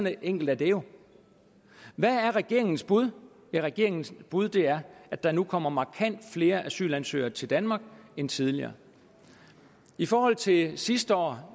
enkelt er det jo hvad er regeringens bud regeringens bud er at der nu kommer markant flere asylansøgere til danmark end tidligere i forhold til sidste år